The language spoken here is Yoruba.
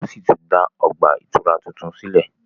wón sí tún dá ọgbà ìtura títún sílè